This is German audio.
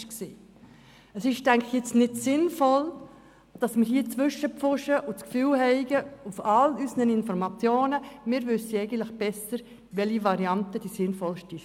Es ist, denke ich, nicht sinnvoll, jetzt dazwischen zu pfuschen und zu denken, wir wüssten besser, welche Variante am sinnvollsten sei.